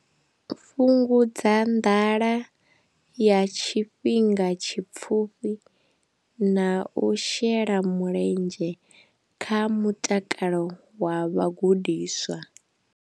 Fhungudza nḓala ya tshifhinga tshipfufhi na u shela mulenzhe kha mutakalo wa vhagudiswa.